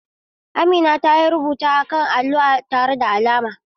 Amina ta yi rubuta akan allo tare da alamar.